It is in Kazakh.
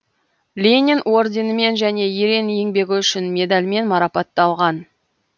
ленин орденімен және ерен еңбегі үшін медальмен марапатталған